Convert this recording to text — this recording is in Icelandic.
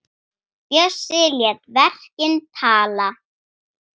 Bjössi lét verkin tala.